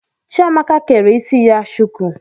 Chiamaka kere isi ya shuku